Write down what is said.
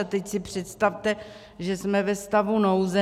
A teď si představte, že jsme ve stavu nouze.